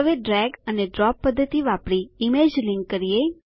હવે ડ્રેગ અને ડ્રોપ પદ્ધતિ વાપરી ઈમેજ લીંક કરીએ